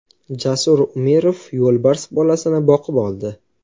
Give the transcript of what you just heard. Jasur Umirov yo‘lbars bolasini boqib oldi.